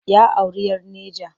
Ya auri 'yar Neja.